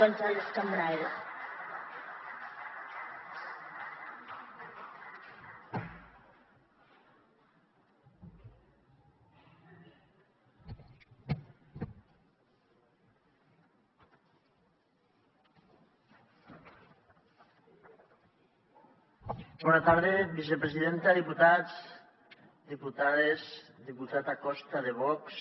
bona tarda vicepresidenta diputats diputades diputat acosta de vox